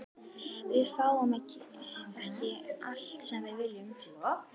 Við fáum ekki allt sem við viljum.